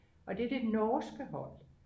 og det er det norske hold